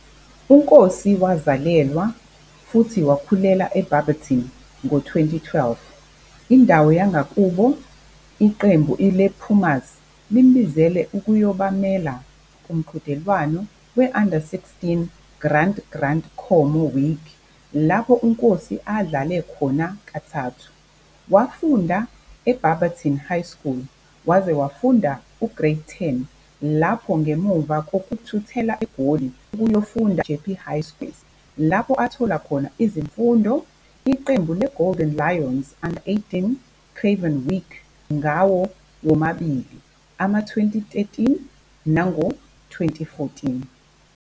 UNkosi wazalelwa futhi wakhulela eBarberton. Ngo-2012, indawo yangakubo Iqembu lePumas limbizele ukuzobamela kumqhudelwano we-Under-16 Grant Grant Khomo Week, lapho uNkosi adlale khona kathathu. Wafunda iBarberton High School waze wafunda uGrade 10 lapho ngemuva kokuthuthela eGoli ukuyofunda eJeppe High School for Boys, lapho athola khona izifundo Iqembu le-Golden Lions 'Under-18 Craven Week ngawo womabili ama-2013 nango-2014.